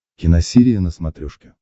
киносерия на смотрешке